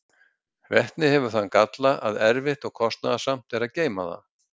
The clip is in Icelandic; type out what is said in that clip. vetni hefur þann galla að erfitt og kostnaðarsamt er að geyma það